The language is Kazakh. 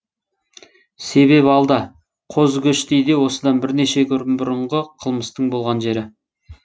себеп алда қозыкөштейде осыдан бірнеше күн бұрынғы қылмыстың болған жері